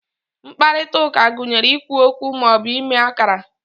mkparịta ụka gụnyere ikwu okwu ma ọ bụ ime akara